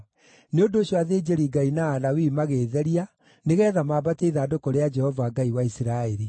Nĩ ũndũ ũcio, athĩnjĩri-Ngai na Alawii magĩĩtheria nĩgeetha maambatie ithandũkũ rĩa Jehova, Ngai wa Isiraeli.